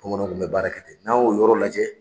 Bamananw kun be baara kɛ ten n'an y'o yɔrɔw lajɛ